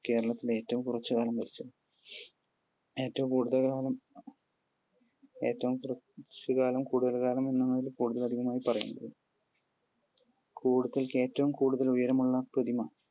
കേരളത്തിൽ ഏറ്റവും കുറച്ചു കാലം ഭരിച്ച, ഏറ്റവും കൂടുതൽ കാലം ഏറ്റവും കുറച്ചു കാലം കൂടുതൽ കാലം എന്നാണവർ പറയുന്നത്. ഏറ്റവും കൂടുതൽ ഉയരമുള്ള പ്രതിമ?